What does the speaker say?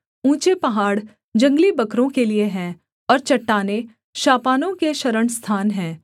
ऊँचे पहाड़ जंगली बकरों के लिये हैं और चट्टानें शापानों के शरणस्थान हैं